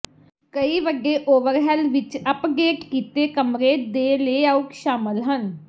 ਕਈ ਵੱਡੇ ਓਵਰਹੈੱਲ ਵਿੱਚ ਅਪਡੇਟ ਕੀਤੇ ਕਮਰੇ ਦੇ ਲੇਆਉਟ ਸ਼ਾਮਲ ਹਨ